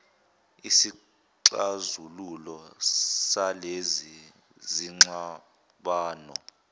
isixazululo salezi zingxabano